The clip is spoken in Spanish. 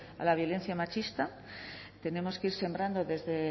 a la violencia machista tenemos que ir sembrando desde